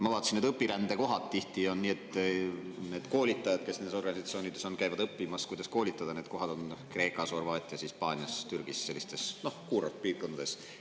Ma vaatasin, et õpirände kohad tihti on – koolitajad, kes nendes organisatsioonides on, käivad õppimas, kuidas koolitada – Kreekas, Horvaatias, Hispaanias, Türgis, sellistes kuurortpiirkondades.